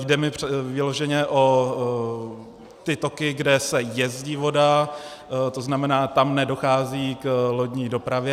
Jde mi vyloženě o ty toky, kde se jezdí voda, to znamená, tam nedochází k lodní dopravě.